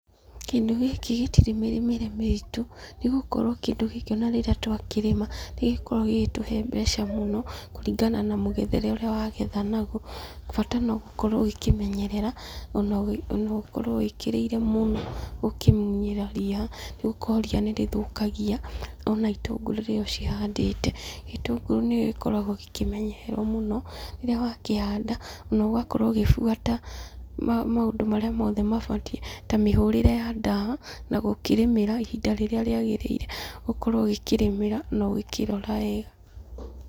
Kĩndũ gĩkĩ gĩtire mĩrĩmĩre mĩritũ, nĩgũkorwo kĩndũ gĩkĩ ona rĩrĩa twakorwo tũkĩrĩma, nĩ gĩkoragwo gĩgĩtũhe mbeca mũno na kũringana na mũgethere ũrĩa wagetha naguo, bata na gũkorwo ũgĩkĩmenyerera, ona ona ũkorwo wĩkĩrĩire mũno ũkĩmũnyĩra ria, nĩgũkorwo ria nĩrĩthũkagia itũngũrũ rĩrĩa ũcihandĩte, gĩtũngũrũ nĩgĩkoragwo gĩkĩmenyererwo mũno, rĩrĩa wakĩhanda na ũgagĩbuata maũndũ marĩa mabatiĩ, ta mĩhũrĩre ya ndawa , gũkĩ rĩmĩra ihinda rĩrĩa riagĩrĩire, ũkorwo ũgĩkĩrĩmĩra na ũkorwo ũkĩrora wega.